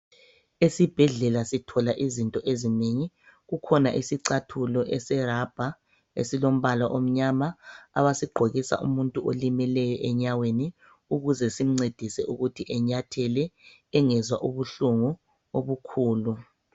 Esibhedlela sithola izinto ezinengi. Kukhona isicathulo eselabha esilombala omnyama abasigqokisa umuntu olimeleyo enyaweni ukuze simncedise ukuthi enyathele engezwa ubuhlungu obukhulu.